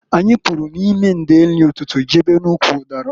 Anyị pụrụ n'ime ndeeri ụtụtụ jebe n'ụkwụ ụdara.